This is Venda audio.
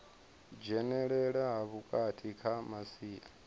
dzhenelela ha vhukuma kha masia